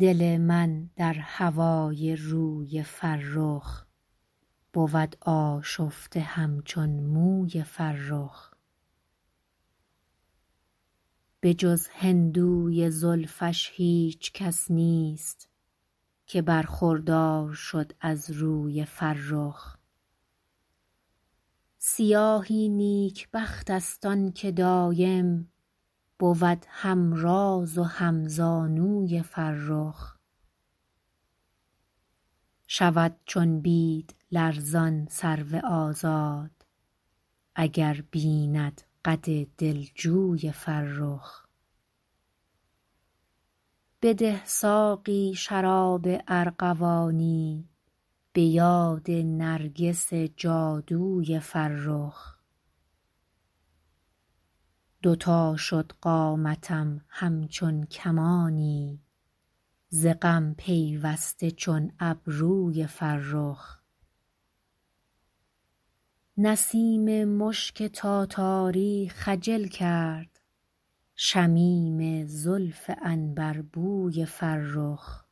دل من در هوای روی فرخ بود آشفته همچون موی فرخ به جز هندوی زلفش هیچ کس نیست که برخوردار شد از روی فرخ سیاهی نیکبخت است آن که دایم بود هم راز و هم زانوی فرخ شود چون بید لرزان سرو آزاد اگر بیند قد دلجوی فرخ بده ساقی شراب ارغوانی به یاد نرگس جادوی فرخ دو تا شد قامتم همچون کمانی ز غم پیوسته چون ابروی فرخ نسیم مشک تاتاری خجل کرد شمیم زلف عنبربوی فرخ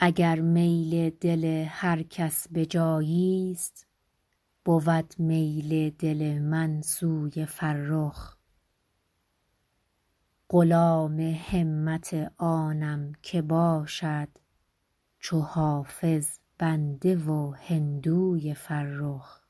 اگر میل دل هر کس به جایی ست بود میل دل من سوی فرخ غلام همت آنم که باشد چو حافظ بنده و هندوی فرخ